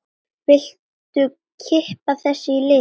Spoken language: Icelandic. Viltu kippa þessu í liðinn?